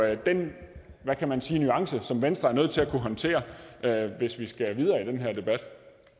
jo den hvad kan man sige nuance som venstre er nødt til at kunne håndtere hvis vi skal videre i den her debat